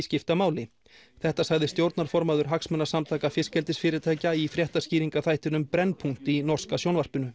skipta máli þetta sagði stjórnarformaður hagsmunasamtaka fiskeldisfyrirtækja í fréttaskýringaþættinum í norska sjónvarpinu